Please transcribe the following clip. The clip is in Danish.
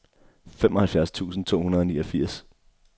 femoghalvfjerds tusind to hundrede og niogfirs